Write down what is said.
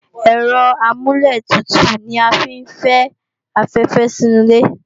Ẹ̀rọ amúlẹ̀tutù ni a fi ń fi afẹ́fẹ́ sí inu ilé